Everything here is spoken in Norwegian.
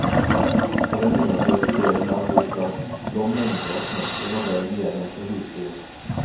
På den undersøkte delen av boplassen lå mengder av knokler og bein igjen etter husdyr.